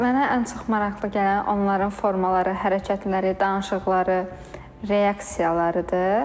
Mənə ən çox maraqlı gələn onların formaları, hərəkətləri, danışıqları, reaksiyalarıdır.